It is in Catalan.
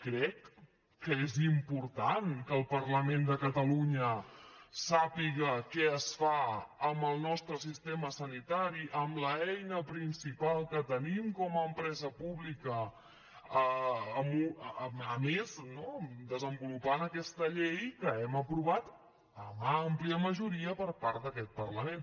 crec que és important que el parlament de catalunya sàpiga què es fa amb el nostre sistema sanitari amb l’eina principal que tenim com a empresa pública a més no desenvolupant aquesta llei que hem aprovat amb àmplia majoria per part d’aquest parlament